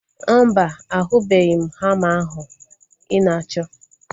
Mba, ahubeghi m hama ahu ị na-achọ